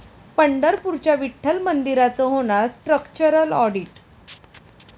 पंढरपूरच्या विठ्ठल मंदिराचं होणार स्ट्रक्चरल आॅडिट